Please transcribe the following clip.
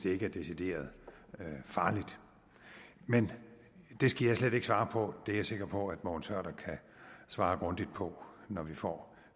ikke er decideret farligt men det skal jeg slet ikke svare på det er jeg sikker på at mogens hørder kan svare grundigt på når vi får